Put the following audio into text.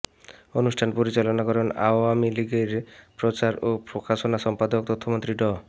অনুষ্ঠান পরিচালনা করেন আওয়ামী লীগের প্রচার ও প্রকাশনা সম্পাদক তথ্যমন্ত্রী ড